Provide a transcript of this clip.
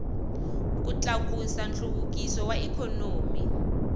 ku tlakusa nhluvukiso wa ikhonomi